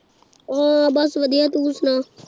ਹਾਂ ਬਸ ਵਧੀਆ ਤੂੰ ਸੁਣਾ